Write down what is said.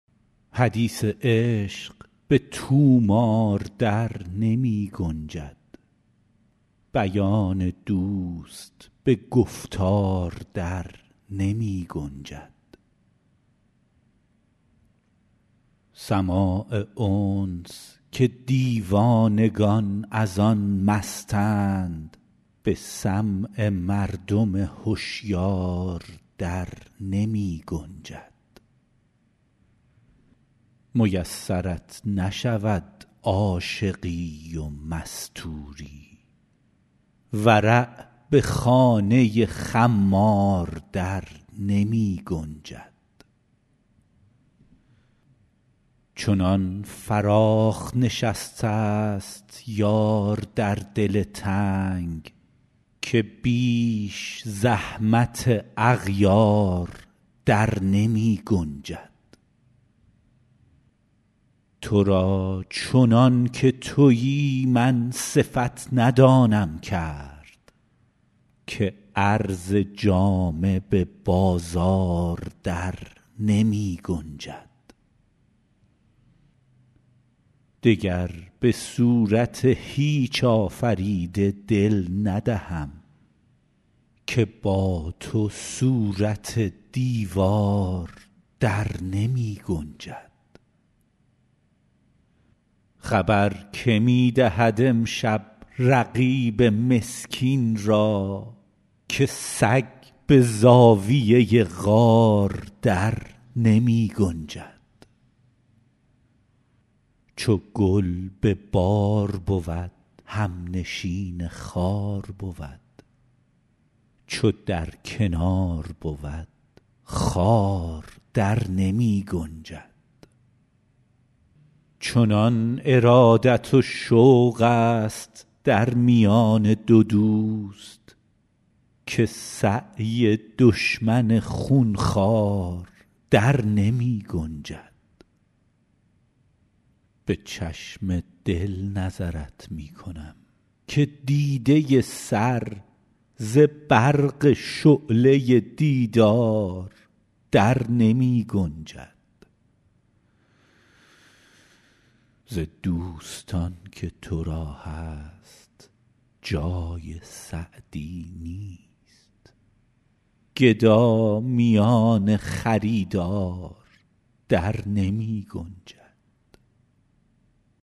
حدیث عشق به طومار در نمی گنجد بیان دوست به گفتار در نمی گنجد سماع انس که دیوانگان از آن مستند به سمع مردم هشیار در نمی گنجد میسرت نشود عاشقی و مستوری ورع به خانه خمار در نمی گنجد چنان فراخ نشسته ست یار در دل تنگ که بیش زحمت اغیار در نمی گنجد تو را چنان که تویی من صفت ندانم کرد که عرض جامه به بازار در نمی گنجد دگر به صورت هیچ آفریده دل ندهم که با تو صورت دیوار در نمی گنجد خبر که می دهد امشب رقیب مسکین را که سگ به زاویه غار در نمی گنجد چو گل به بار بود همنشین خار بود چو در کنار بود خار در نمی گنجد چنان ارادت و شوق ست در میان دو دوست که سعی دشمن خون خوار در نمی گنجد به چشم دل نظرت می کنم که دیده سر ز برق شعله دیدار در نمی گنجد ز دوستان که تو را هست جای سعدی نیست گدا میان خریدار در نمی گنجد